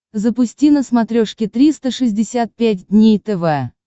запусти на смотрешке триста шестьдесят пять дней тв